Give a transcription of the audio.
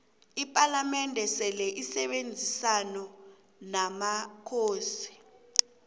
ipalamende seleisebenzisona nomakhosi